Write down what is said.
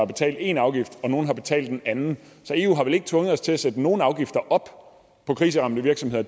betalt én afgift og nogle har betalt en anden så eu har vel ikke tvunget os til at sætte nogle afgifter op for kriseramte virksomheder